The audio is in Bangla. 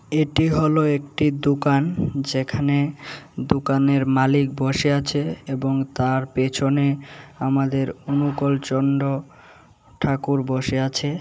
এটি হলো একটি দুকান যেখানে দুকানের মালিক বসে আছে এবং তার পেছনে আমাদের অনুকূল চন্দ্র ঠাকুর বসে আছে।